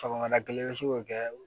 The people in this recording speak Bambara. Sɔgɔmada kelen i bɛ se k'o kɛ